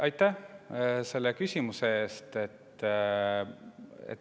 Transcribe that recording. Aitäh selle küsimuse eest!